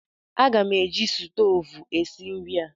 Aga m eji stoovu esi nri a.